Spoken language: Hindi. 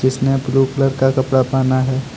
उसने ब्लू कलर का कपड़ा पहना है।